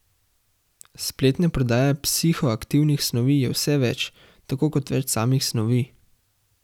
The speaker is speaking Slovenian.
Spletne prodaje psihoaktivnih snovi je vse več, tako kot več samih snovi.